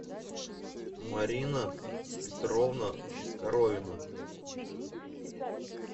марина петровна коровина